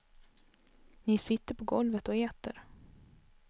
Ni sitter på golvet och äter.